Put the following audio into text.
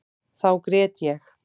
Þá grét ég.